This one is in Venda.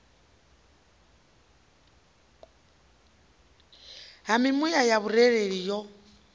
ha mimuya ya vhurereli yo